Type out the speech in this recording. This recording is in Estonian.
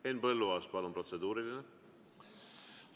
Henn Põlluaas, palun, protseduuriline!